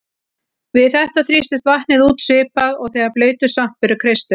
Við þetta þrýstist vatnið út svipað og þegar blautur svampur er kreistur.